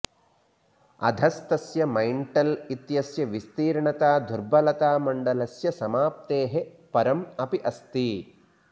अधस्थस्य mantle इत्यस्य विस्तीर्णता दुर्बलतामण्डलस्य समाप्तेः परम् अपि अस्ति